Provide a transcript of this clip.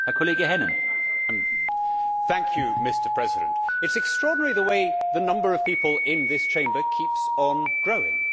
Mr President, it is extraordinary the way the number of people in this Chamber keeps on growing.